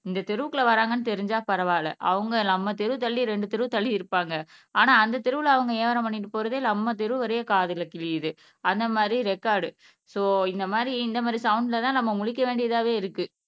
இந்த தெருவுக்குள்ள வராங்கன்னு தெரிஞ்சா பரவாயில்லை அவங்க நம்ம தெரு தள்ளி இரண்டு தெரு தள்ளி இருப்பாங்க ஆனா அந்த தெருவுவல அவங்க வியாபாரம் பண்ணிட்டு போறதே நம்ம தெரு வரைல காதுல கிழியுது அந்த மாதிரி ரெக்கார்டு சோ இந்த மாதிரி இந்த மாதிரிசவுண்ட்ல தான் நம்ம முழிக்க வேண்டியதாவே இருக்கு